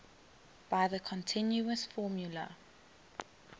by the continuous formula